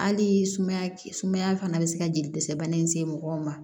Hali sumaya sumaya fana bɛ se ka jeli dɛsɛ bana in se mɔgɔw ma